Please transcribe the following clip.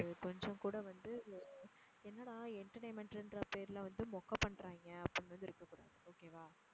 அது கொஞ்சம் கூட வந்து எர் என்னடா entertainment ன்ற பேருல வந்து மொக்க பண்றாங்க அப்படின்னு வந்து இருக்க கூடாது. okay வா?